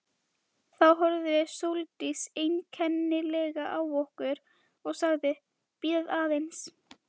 Þá horfði Sóldís einkennilega á okkur og sagði: Bíðið aðeins